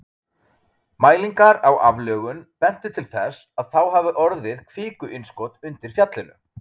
Mælingar á aflögun bentu til þess að þá hafi orðið kvikuinnskot undir fjallinu.